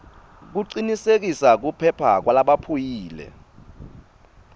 kucinisekisa kuphepha kwalabaphuyile